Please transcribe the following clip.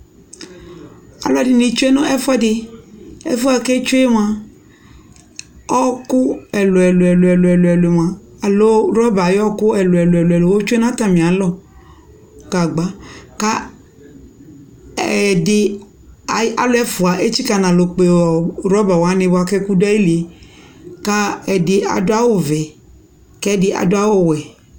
alo ɛdi ni tsue no ɛfuɛdi ɛfuɛ ko etsue moa ɔku ɛlò ɛlò ɛlò moa alo rɔba ayo ɔku ɛlò ɛlò moa otsue no atami alɔ gagba ko ɛdi alu ɛfua etsika no alɔ kpe rɔba wani ko ɛku do ayi li ko ɛdi ado awu vɛ ko ɛdi ado awu wɛ